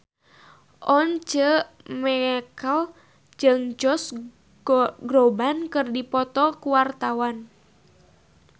Once Mekel jeung Josh Groban keur dipoto ku wartawan